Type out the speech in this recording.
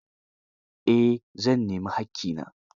Eh, zan nemi haƙƙina